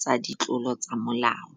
tsa ditlolo tsa molao.